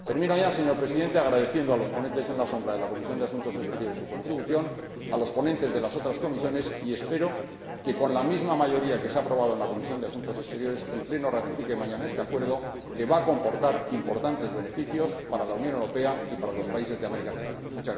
Por último, señor Presidente, agradezco a los ponentes alternativos de la Comisión de Asuntos Exteriores su contribución, así como a los ponentes de las otras comisiones, y espero que, con la misma mayoría que se ha aprobado en la Comisión de Asuntos Exteriores, el Pleno ratifique mañana este Acuerdo, que va a comportar importantes beneficios para la Unión Europea y para los países de Centroamérica.